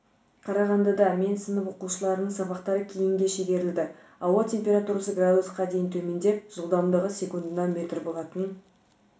қарағандыда мен сынып оқушыларының сабақтары кейінге шегерілді ауа температурасы градусқа дейін төмендеп жылдамдығы секундына метр болатын